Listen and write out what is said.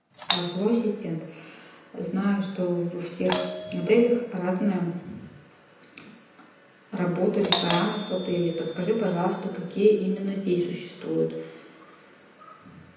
голосовой ассистент знаю что во всех отелях разная работа ресторанов в отеле подскажи пожалуйста какие именно здесь существуют